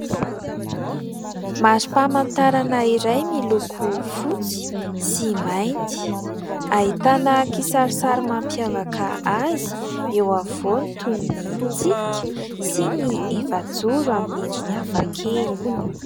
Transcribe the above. Mari-pamantarana iray miloko fotsy sy mainty, ahitana kisarisary mampiavaka azy eo afovoany toy ny tsipika sy ny efajoro amin'ny endriny hafakely.